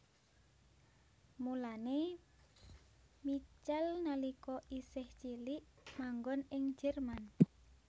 Mulané Michal nalika isih cilik manggon ing Jerman